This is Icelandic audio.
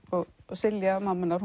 Silja mamma hennar